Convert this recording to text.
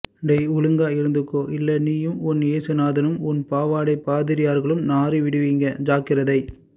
டேய் ஒழுங்கா இருந்துக்கோ இல்ல நீயும் உன் ஏசுநாதனும் உன் பாவாடை பாதிரியார்களும் நாறிடுவிங்க ஜாக்கிரத்தை